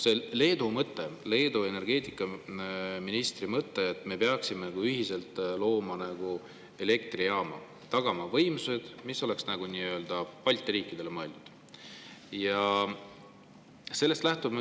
Leedu energeetikaministril oli mõte, et me peaksime ühiselt looma elektrijaama ja tagama võimsused, mis oleks nagu Balti riikidele mõeldud.